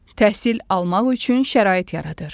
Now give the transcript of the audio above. Təhsil almaq üçün şərait yaradır.